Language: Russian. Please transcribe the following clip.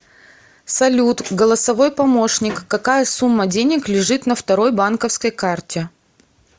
салют голосовой помощник какая сумма денег лежит на второй банковской карте